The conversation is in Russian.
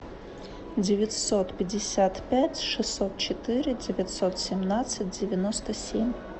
девятьсот пятьдесят пять шестьсот четыре девятьсот семнадцать девяносто семь